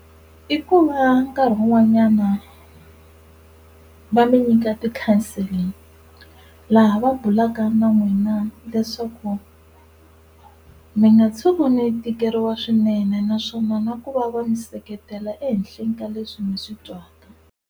I ku va nkarhi wun'wanyana va mi nyika ti-counselling laha va bulaka na n'wina leswaku mi nga tshuki mi tikeriwa swinene naswona na ku va va mi seketela ehenhleni ka leswi mi swi twaka.